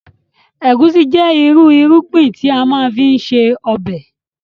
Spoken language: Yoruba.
Egusi jẹ ìrú irúgbìn tí a má ń fi ṣe ọbẹ̀